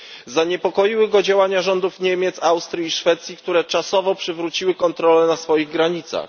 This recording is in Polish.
Zaniepokoiły go działania rządów Niemiec, Austrii i Szwecji, które czasowo przywróciły kontrole na swoich granicach.